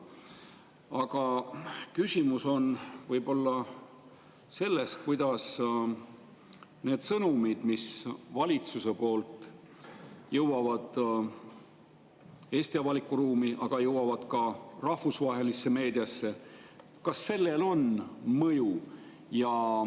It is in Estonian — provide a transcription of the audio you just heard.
Aga küsimus on võib‑olla selles, et kas sellel, kuidas need sõnumid, mis valitsuse poolt jõuavad Eesti avalikku ruumi ja ka rahvusvahelisse meediasse, on mõju.